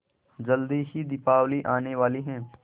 जल्दी ही दीपावली आने वाली है